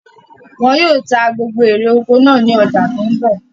Wọn yìí ó ta gbogbo ère oko náà ni ọjà tòun bọ̀